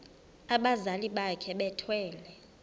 abazali bakhe bethwele